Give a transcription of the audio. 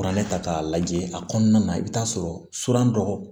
Kuranɛ ta k'a lajɛ a kɔnɔna na i bɛ taa sɔrɔ dɔgɔ